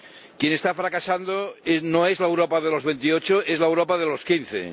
Quien está fracasando no es la Europa de los veintiocho, es la Europa de los quince.